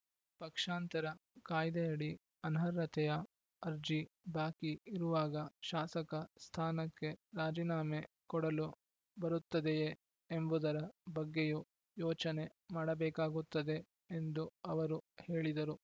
ಪಕ್ಷಾಂತರ ಕಾಯ್ದೆಯಡಿ ಅನರ್ಹತೆಯ ಅರ್ಜಿ ಬಾಕಿ ಇರುವಾಗ ಶಾಸಕ ಸ್ಥಾನಕ್ಕೆ ರಾಜೀನಾಮೆ ಕೊಡಲು ಬರುತ್ತದೆಯೇ ಎಂಬುದರ ಬಗ್ಗೆಯೂ ಯೋಚನೆ ಮಾಡಬೇಕಾಗುತ್ತದೆ ಎಂದು ಅವರು ಹೇಳಿದರು